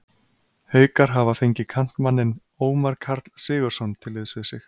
Haukar hafa fengið kantmanninn Ómar Karl Sigurðsson til liðs við sig.